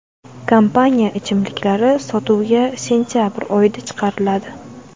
Kompaniya ichimliklari sotuvga sentabr oyida chiqariladi.